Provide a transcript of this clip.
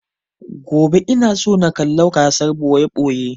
Gobe ina so na kalla gasar ɓoye-ɓoye